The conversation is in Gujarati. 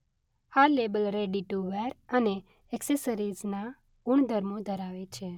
આ લેબલ રેડી-ટુ-વેર અને ઍક્સેસરિઝના ગુણધર્મો ધરાવે છે.